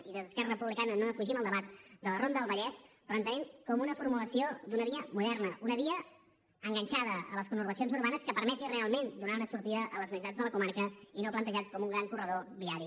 i des d’esquerra republicana no defugim el debat de la ronda del vallès però entenent la com una formulació d’una via moderna una via enganxada a les conurbacions urbanes que permeti realment donar una sortida a les necessitats de la comarca i no plantejada com un gran corredor viari